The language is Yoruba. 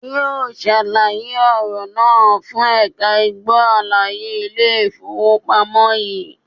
Yóò sàlàyé ọ̀rọ̀ náà fún ẹ̀ka ìgbó àlàyé Ilé ìfowópamọ́ sí